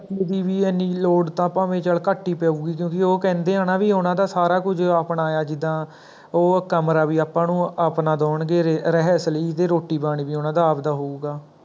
ਚਾਚੇ ਦੀ ਵੀ ਇਹਨੀ ਲੋੜ ਤਾਂ ਭਾਵੈ ਚੱਲ ਘਟ ਹੀ ਪਉਗੀ ਕਿਉਂਕੀ ਉਹ ਕਹਿੰਦੇ ਹਾਂ ਨਾ ਵੀ ਉਹਨਾ ਦਾ ਸਾਰਾ ਕੁੱਝ ਆਪਣਾ ਹੈ ਜਿੱਦਾ ਓਹ ਕਮਰਾ ਵੀ ਆਪਾਂ ਨੂੰ ਆਪਣਾ ਦਿਉਂਗੇ ਵੀ ਰਿਹਾਇਸ਼ ਲਈ ਵੀ ਰੋਟੀ ਪਾਣੀ ਵੀ ਉਹਨਾਂ ਦਾ ਆਪ ਦਾ ਹੋਉਗਾ